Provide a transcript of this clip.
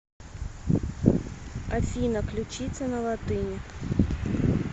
афина ключица на латыни